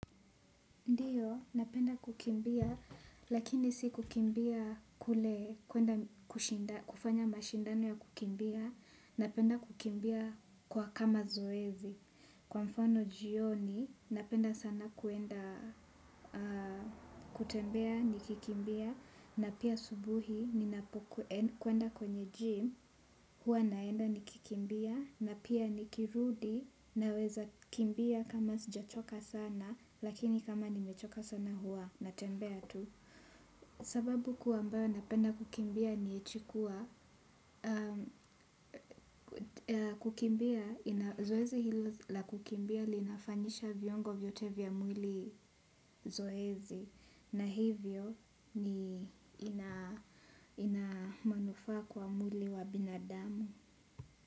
Ndiyo, napenda kukimbia, lakini si kukimbia kule kufanya mashindano ya kukimbia, napenda kukimbia kwa kama zoezi. Kwa mfano jioni napenda sana kwenda kutembea nikikimbia na pia asubuhi kwenda kwenye gym huwa naenda nikikimbia na pia nikirudi naweza kimbia kama sijachoka sana lakini kama nimechoka sana huwa natembea tu. Sababu kuu ambayo napenda kukimbia ni eti kuwa, kukimbia, zoezi hilo la kukimbia linafanyisha viungo vyote vya mwili zoezi, na hivyo ni ina manufaa kwa mwili wa binadamu.